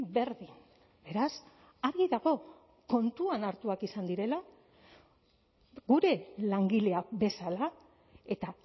berdin beraz argi dago kontuan hartuak izan direla gure langileak bezala eta